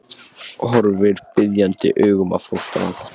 Horfir biðjandi augum á fóstrann.